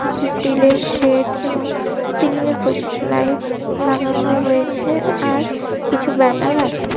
কিছু স্টিলের শেড এবং সিলিং এ প্রচুর লাইট লাগানো রয়েছে আর কিছু ব্যানার আছে।